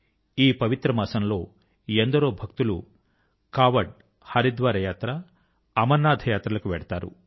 ఈ పవిత్ర మాసం లో ఎందరో భక్తులు కాఁవడ్ హరిద్వార్ యాత్ర అమరనాథ్ యాత్రల కు వెళ్తారు